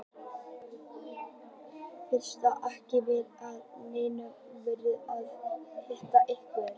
Fyrst ætlaði ég ekki að láta neinn vita en svo ákvað ég að hitta ykkur.